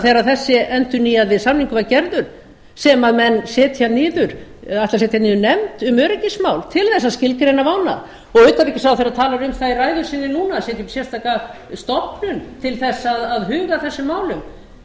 þegar þessi endurnýjaði samningur var gerður sem menn ætla að setja niður nefnd um öryggismál til þess að skilgreina vána utanríkisráðherra talar um það í ræðu sinni núna að setja upp sérstaka stofnun til þess að huga að þessum málum það er